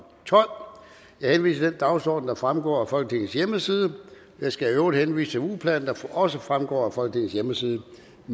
tolv jeg henviser til den dagsorden der fremgår af folketingets hjemmeside jeg skal i øvrigt henvise til ugeplanen der også fremgår af folketingets hjemmeside